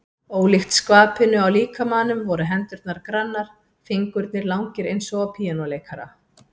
Ólíkt skvapinu á líkamanum voru hendurnar grannar, fingurnir langir eins og á píanóleikara.